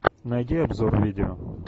найди обзор видео